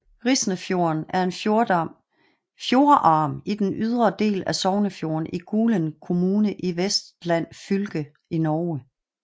Risnefjorden er en fjordarm i den ydre del af Sognefjorden i Gulen kommune i Vestland fylke i Norge